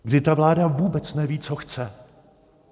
Kdy ta vláda vůbec neví, co chce.